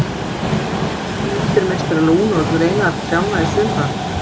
Og hver á að hengja myndir meistara Lúnu á greinar trjánna á sumrin?